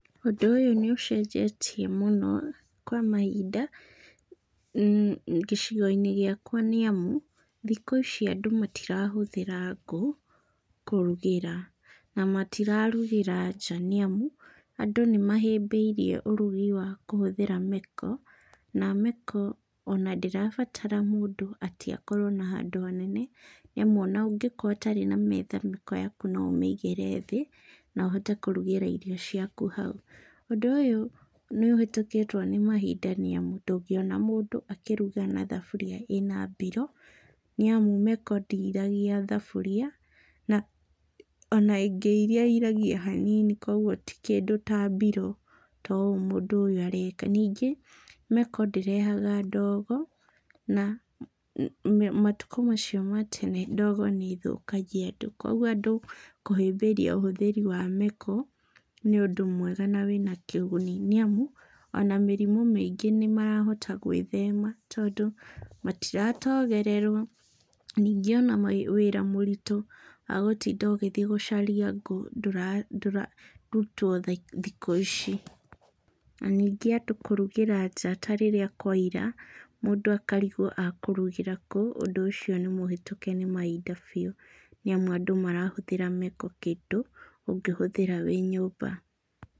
Ũndũ ũyũ nĩ ũcenjetie mũno kwa mahinda gĩcigo-inĩ gĩakwa nĩamu, thikũ ici and matirahũthĩra ngũ kũrugĩra. Na matirarugĩra nja nĩamu andũ nĩ mahĩmbĩirie ũrugi wa kũhũthĩra meko, na meko ona ndĩrabatara mũndũ atĩ akorwo na handũ hanene, nĩamu ona ũngĩkorwo ũtarĩ na metha meko yaku no ũmĩigĩre thĩ, na ũhote kũrugĩra irio ciaku hau. Ũndũ ũyũ nĩ ũhĩtũkĩtwo nĩ mahinda nĩamu, ndũngĩona mũndũ akĩruga na thaburia ĩna mbiro, nĩamu meko ndĩiragia thaburia na ona ĩngĩiria ĩiragia hanini kuouo ti kĩndũ ta mbiro ta ũũ mũndũ ũyũ areka. Ningĩ, meko ndĩrehaga ndogo na matukũ macio ma tene ndogo nĩĩthũkagia andũ, kuoguo andũ kũhĩmbĩria ũhũthĩri wa meko nĩ ũndũ mwega na wĩna kĩguni nĩamu ona mĩrimũ mĩingĩ nĩmarahota gwĩthema tondũ matiratogererwo. Ningĩ ona wĩra mũritũ wa gũtinda ũgĩthiĩ gũcaria ngũ ndũrarutwo thikũ ici. Na ningĩ andũ kũrugĩra nja ta rĩrĩ akwaira, mũndũ akarigwo ekũrugĩra kũ ,undũ ũcio nĩ mũhĩtũke nĩ mahinda biũ, nĩamu andũ marahũthĩra meko kĩndũ ũngĩhũthĩra wĩ nyũmba.